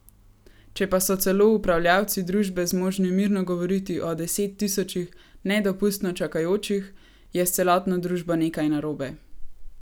Če pa so celo upravljavci družbe zmožni mirno govoriti o desettisočih nedopustno čakajočih, je s celotno družbo nekaj narobe.